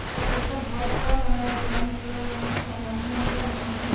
ఓక పెద్దవాల్ కుడా కనపడుతోంది చూడడానికి చాలా అందంగా ఉన్నాది.